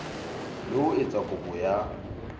le ho etsa kopo ya